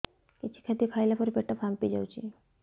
କିଛି ଖାଦ୍ୟ ଖାଇଲା ପରେ ପେଟ ଫାମ୍ପି ଯାଉଛି